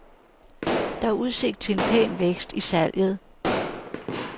Der er udsigt til en pæn vækst i salget.